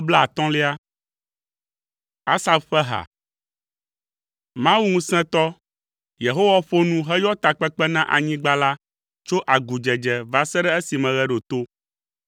Asaf ƒe ha. Mawu ŋusẽtɔ, Yehowa ƒo nu heyɔ takpekpe na anyigba la tso agudzedze va se ɖe esime ɣe ɖo to.